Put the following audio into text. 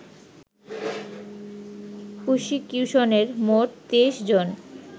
প্রসিকিউশনের মোট২৩ জন